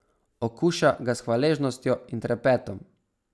Okuša ga s hvaležnostjo in trepetom.